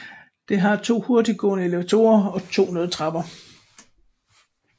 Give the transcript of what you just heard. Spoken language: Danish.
Det har to hurtiggående elevatorer og 2 nødtrapper